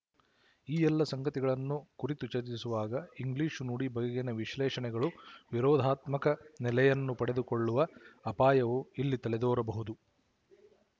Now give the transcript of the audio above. ಈ ಎಲ್ಲ ಸಂಗತಿಗಳನ್ನು ಕುರಿತು ಚರ್ಚಿಸುವಾಗ ಇಂಗ್ಲಿಶು ನುಡಿ ಬಗೆಗಿನ ವಿಶಲೇಶಣೆಗಳು ವಿರೋಧಾತ್ಮಕ ನೆಲೆಯನ್ನು ಪಡೆದುಕೊಳ್ಳುವ ಅಪಾಯವು ಇಲ್ಲಿ ತಲೆದೋರಬಹುದು